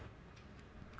að